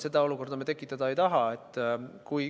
Seda olukorda me tekitada ei taha.